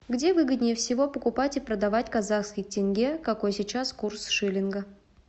где выгоднее всего покупать и продавать казахский тенге какой сейчас курс шиллинга